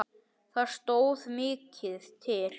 Það stóð mikið til.